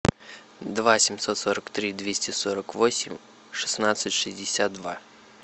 два семьсот сорок три двести сорок восемь шестнадцать шестьдесят два